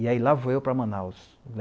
E aí lá vou eu para Manaus.